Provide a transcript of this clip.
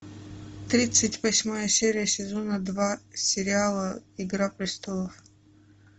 тридцать восьмая серия сезона два сериала игра престолов